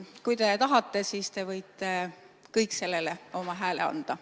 Kui te tahate, siis te võite kõik sellele oma hääle anda.